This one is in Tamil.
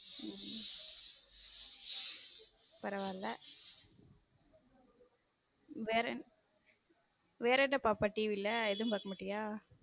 உம் பரவல வேற என்ன வேற என்ன பாப்பா TV வேற எதுவும் பக்க மாட்டிய?